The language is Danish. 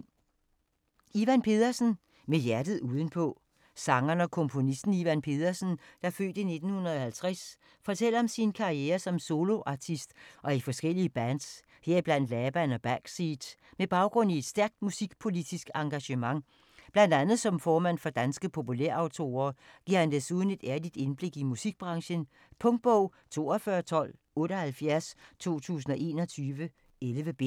Pedersen, Ivan: Med hjertet udenpå Sangeren og komponisten, Ivan Pedersen (f. 1950), fortæller om sin karriere som soloartist og i forskellige bands, heriblandt Laban og Backseat. Med baggrund i et stærkt musikpolitisk engagement, bl.a. som formand for Danske Populær Autorer, giver han desuden et ærligt indblik i musikbranchen. Punktbog 421278 2021. 11 bind.